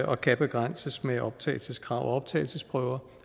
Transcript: og kan begrænses med optagelseskrav og optagelsesprøver